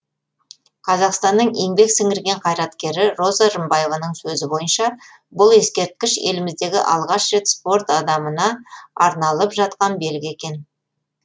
қазақстанның еңбек сіңірген қайраткері роза рымбаеваның сөзі бойынша бұл ескерткіш еліміздегі алғаш рет спорт адамына арналып жатқан белгі екен